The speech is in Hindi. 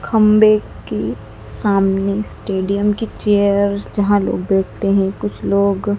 खंबे की सामने स्टेडियम की चेयर जहां लोग बैठते हैं कुछ लोग--